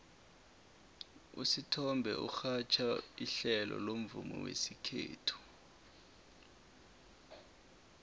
usithombe urhatjha ihlelo lomvumo wesikhethu